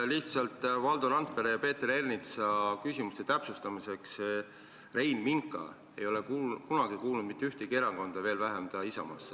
Lihtsalt täpsustan Valdo Randpere ja Peeter Ernitsa küsimuste peale, et Rein Minka ei ole kunagi kuulunud mitte ühtegi erakonda, ka mitte Isamaasse.